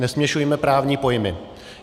Nesměšujme právní pojmy.